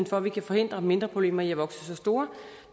for at vi kan forhindre mindre problemer i at vokse sig store